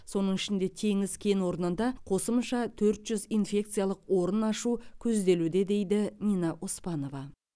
соның ішінде теңіз кен орнында қосымша төрт жүз инфекциялық орын ашу көзделуде дейді нина оспанова